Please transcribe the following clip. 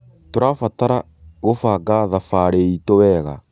Tũrabatara gũbanga thabarĩ itũ wega.